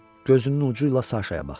Gözünün ucu ilə Saşaya baxdı.